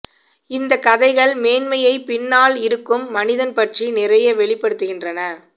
இந்த கதைகள் மேன்மையைப் பின்னால் இருக்கும் மனிதன் பற்றி நிறைய வெளிப்படுத்துகின்றன